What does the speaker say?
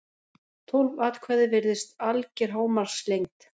tólf atkvæði virðist alger hámarkslengd